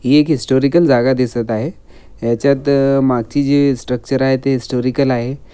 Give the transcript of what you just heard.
ही एक हिस्टॉरिकल जागा दिसत आहे. याच्यात मागची जे स्ट्रक्चर आहे ते हिस्टॉरिकल आहे.